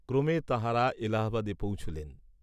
ক্রমে তাঁহারা এলাহাবাদে পৌঁছিলেন।